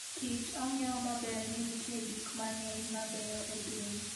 Kich ong'eyo maber ni nitie gik mang'eny mabeyo e piny.